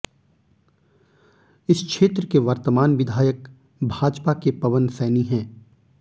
इस क्षेत्र के वर्तमान विधायक भाजपा के पवन सैनी हैं